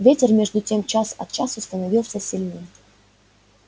ветер между тем час от часу становился сильнее